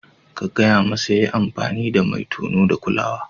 Ka gaya masa ya yi amfani da mai tono da kulawa.